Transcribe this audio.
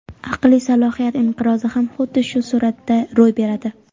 aqliy salohiyat inqirozi ham xuddi shu sur’atda ro‘y beradi.